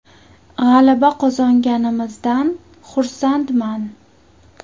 G‘alaba qozonganimizdan xursandman.